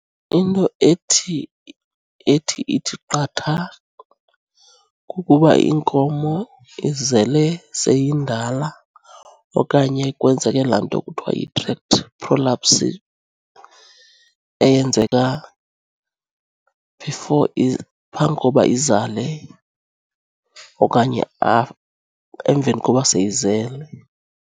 Into ethi, ethi ithi qatha kukuba iinkomo izele seyindala okanye kwenzeke laa nto ekuthiwa yi-tract prolapse eyenzeka before phambi koba izale okanye emveni koba seyizele.